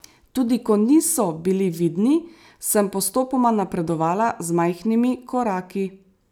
Tudi ko niso bili vidni, sem postopoma napredovala z majhnimi koraki.